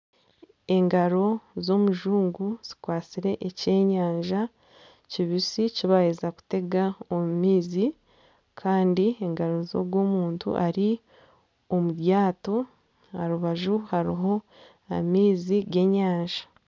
Engaro z'omujungu zikwatsire ekyenyanja kibisi ekibaheza kutega omu maizi Kandi engaro zogu omuntu ari omu ryato aha rubaju hariho amaizi g'enyanja.